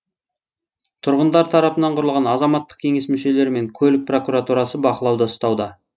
тұрғындар тарапынан құрылған азаматтық кеңес мүшелері мен көлік прокуратурасы бақылауда ұстауда